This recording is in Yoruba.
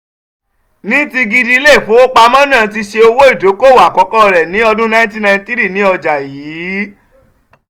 ní ti gidi ilé-ìfowópamọ́ náà ti ṣe owó-ìdókòwò àkọ́kọ́ rẹ̀ ní ọdún 1993 ní ọjà yìí.